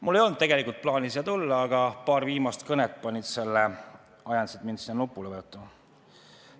Mul ei olnud tegelikult plaani siia ette tulla, aga paar viimast kõnet ajasid mind nuppu vajutama.